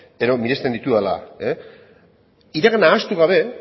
edo miresten ditudala iragana ahaztu gabe